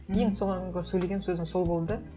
ең сөйлеген сөзім сол болды